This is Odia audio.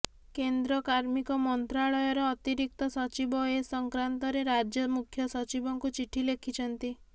କେନ୍ଦ୍ର କାର୍ମିକ ମନ୍ତ୍ରଣାଳୟର ଅତିରିକ୍ତ ସଚିବ ଏ ସଂକ୍ରାନ୍ତରେ ରାଜ୍ୟ ମୁଖ୍ୟ ସଚିବଙ୍କୁ ଚିଠି ଲେଖିଛନ୍ତି